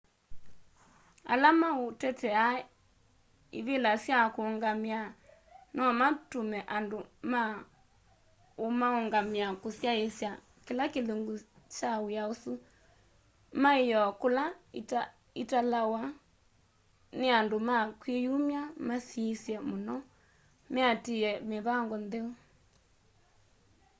ala maũtetea ivĩla sya kũũngamĩa nomatũme andũ ma ũmaũngamĩa kũsyaĩsya kĩla kĩlungu kya wĩa ũsu maĩyoo kula italawa nĩ andũ ma kwĩyumya masiĩswe mũno meatĩĩe mĩvango ntheu